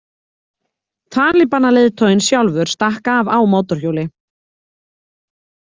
Talibanaleiðtoginn sjálfur stakk af á mótorhjóli.